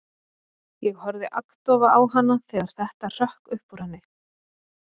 Ég horfði agndofa á hana þegar þetta hrökk upp úr henni.